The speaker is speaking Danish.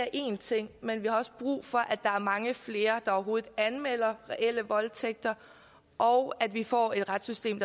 er én ting men at vi også har brug for at der er mange flere der overhovedet anmelder reelle voldtægter og at vi får et retssystem